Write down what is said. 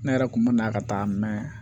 Ne yɛrɛ kun bɛ na ka taa mɛn